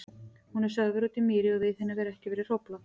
Hún er sögð vera úti í mýri og við henni hefur ekki verið hróflað.